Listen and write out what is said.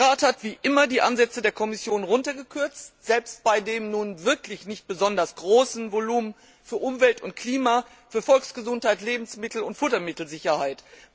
Der Rat hat wie immer die Mittelansätze der Kommission gekürzt, selbst bei dem nun wirklich nicht besonders großen Volumen für Umwelt und Klima, für Volksgesundheit, Lebensmittel und Futtermittelsicherheit.